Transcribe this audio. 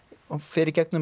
hún fer í gegnum